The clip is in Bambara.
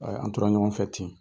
an tora ɲɔgɔn fɛ ten.